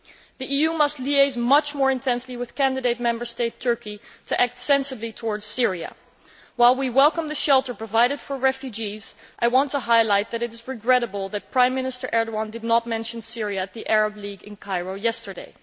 The EU must liaise much more intensely with candidate Member State Turkey to act sensibly towards Syria. While we welcome the shelter provided for refugees, I want to highlight that it is regrettable that Prime Minister Erdogan did not mention Syria at the Arab League in Cairo yesterday.